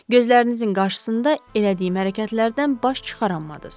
Gözlərinizin qarşısında elədiyim hərəkətlərdən baş çıxaramadız.